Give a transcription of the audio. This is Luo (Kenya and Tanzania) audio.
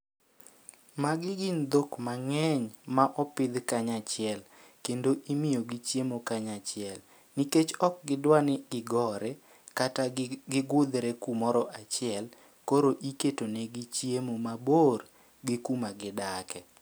Magi gin dhok mang'eny ma opidh kanyachiel, kendo imiyo gi chiemo kanyachiel. Nikech ok gidwa ni gigore, kata gigudhre kumoro achiel, koro iketo negi chiemo mabor gi kuma gidake.